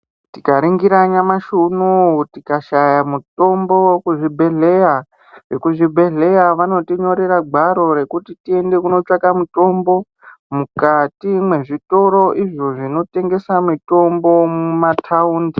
Tikaringira nyamashi unou tikashaya mitombo kuzvibhedhleyaa ekuzvibhedhleya vanotinyorera gwaro rekuti tiende kotsvaka mitombo mukati mwezvitoro zvinotengesa mitombo mumataundi.